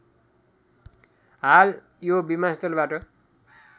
हाल यो विमानस्थलबाट